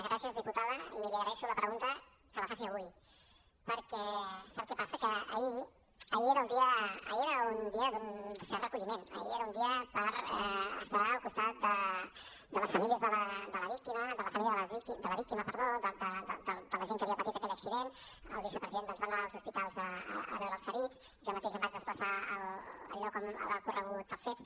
gràcies diputada i li agraeixo la pregunta que la faci avui perquè sap què passa que ahir era un dia d’un cert recolliment ahir era un dia per estar al costat de la família de la víctima de la gent que havia patit aquell accident el vicepresident doncs va anar als hospitals a veure els ferits jo mateix em vaig desplaçar al lloc on havien ocorregut els fets